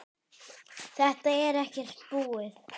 Þetta er ekkert búið